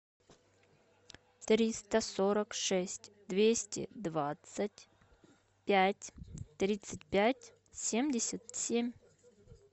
триста сорок шесть двести двадцать пять тридцать пять семьдесят семь